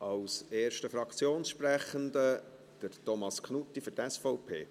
Als erster Fraktionssprechender, Thomas Knutti für die SVP.